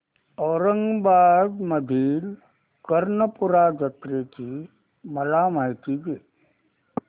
औरंगाबाद मधील कर्णपूरा जत्रेची मला माहिती दे